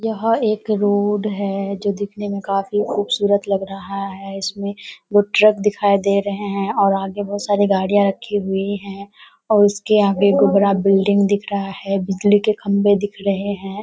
यह एक रोड है जो दिखने में काफी खूबसूरत लग रहा है। इसमें दो ट्रक दिखाई दे रहें हैं और आगे बहुत सारे गाड़ियाँ रखी हुई है और उसके आगे बिल्डिंग दिख रहा है बिजली के खम्भे दिख रहें हैं।